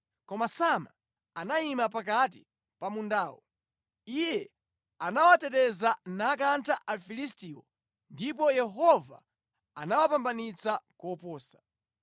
Koma Sama anayima pakati pa mundawo. Iye anawuteteza nakantha Afilistiwo ndipo Yehova anawapambanitsa koposa.